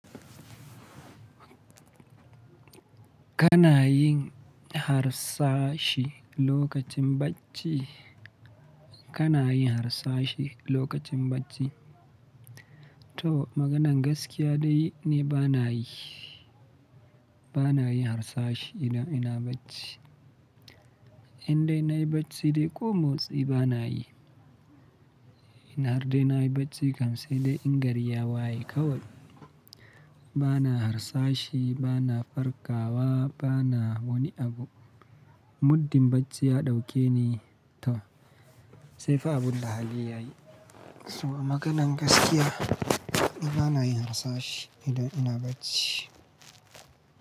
Kana yin harsashi lokacin bacci? Kana yin harsashi lokacin bacci? To maganan gaskiya dai ni ba na yi, ba na yi harsashi idan ina bacci. Indai na yi bacci dai ƙo motsi ba na yi. In har dai na yi bacci kam sai dai in gari ya waye kawai. Ba na harsashi, ba na farkawa, ba na wani abu. Muddin bacci ya ɗauke ni toh sai fa abun da hali ya yi. Toh maganan gaskiya ni ba na yi harsashi idan ina bacci.